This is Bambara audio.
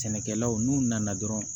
Sɛnɛkɛlaw n'u nana dɔrɔn